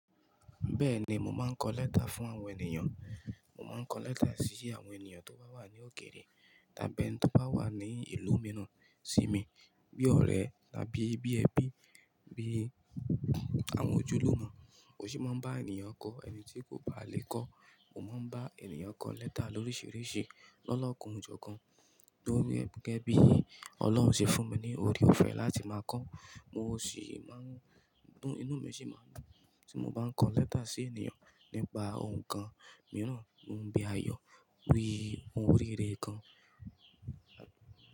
Bẹ́ẹ̀ni, mo máa ń kọ lẹ́tà fún àwọn ènìyàn. Mo máa ń kọ lẹ́tà sí àwọn ènìyàn tó bá wà ní òkèèrè tàbí ẹni tí ó bá wà ní ìlú mìíràn sí mi bí ọ̀rẹ́ tàbí bí ẹbí, bí àwọn ojúlùmọ̀. Mo sì máa ń bá ènìyàn kọ ẹni tí kò bá lè kọ́. Mo máa ń bá ènìyàn kọ lẹ́tà lóríṣiríṣi lọ́lọ́kun ìjọ kan tó rí gẹ́gẹ́ bí Ọlọ́run ṣe fún mi ní oore-ọ̀fẹ́ láti máa kọ́. Mo sì máa ń dùn, inú mi sì máa dùn tí mo bá ń kọ lẹ́tà sí ènìyàn nípa ohùn kan mìíràn, ohun bí àyọ́, wí, ohun rere kan.